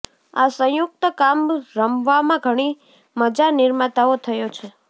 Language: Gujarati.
આ સંયુક્ત કામ રમવામાં ઘણી મજા નિર્માતાઓ થયો છે